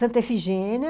Santa Efigênia...